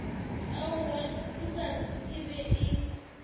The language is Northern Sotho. aowaa lukas e be e